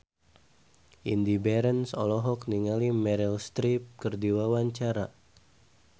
Indy Barens olohok ningali Meryl Streep keur diwawancara